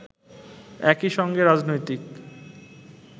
একই সঙ্গে রাজনৈতিক